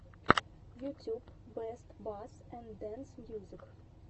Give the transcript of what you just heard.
ютюб бэст басс энд дэнс мьюзик